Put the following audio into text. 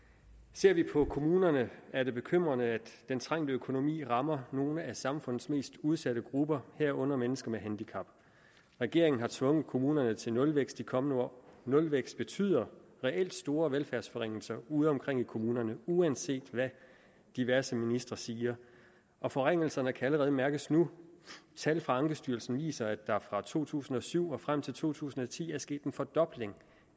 ser vi på kommunerne er det bekymrende at den trængte økonomi rammer nogle af samfundets mest udsatte grupper herunder mennesker med handicap regeringen har tvunget kommunerne til nulvækst i de kommende år nulvækst betyder reelt store velfærdsforringelser udeomkring i kommunerne uanset hvad diverse ministre siger og forringelserne kan allerede mærkes nu tal fra ankestyrelsen viser at der fra to tusind og syv og frem til to tusind og ti er sket en fordobling